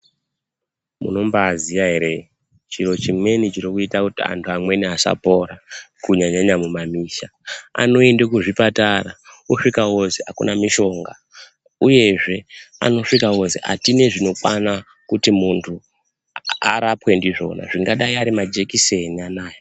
Munombaaziya ere chiro chimweni chirikuita kuti antu amweni asapora kunyanyanyanya mumamisha, anoende kuzvipatara osvika ozwi akuna mishonga, uyezve anosvika ozwi atina zvinokwana zvekuti muntu arapwe ndizvona angadai arimajekiseni anoaya.